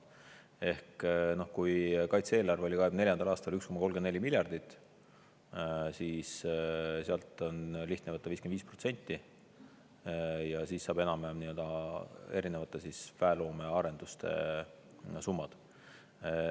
Ehk kui kaitse-eelarve oli 2024. aastal 1,34 miljardit, siis sealt on lihtne võtta 55%, siis saab enam-vähem nii-öelda erinevate väeloome arenduste summad.